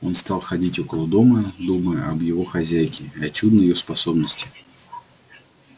он стал ходить около дома думая об его хозяйке и о чудной её способности